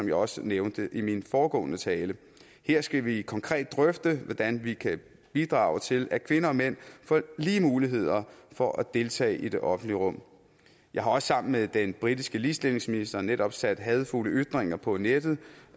jeg også nævnte i min foregående tale her skal vi konkret drøfte hvordan vi kan bidrage til at kvinder og mænd får lige muligheder for at deltage i det offentlige rum jeg har også sammen med den britiske ligestillingsminister netop sat hadefulde ytringer på nettet